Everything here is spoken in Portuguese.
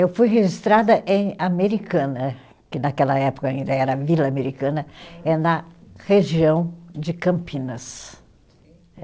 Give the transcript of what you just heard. Eu fui registrada em Americana, que naquela época ainda era Vila Americana, é na região de Campinas.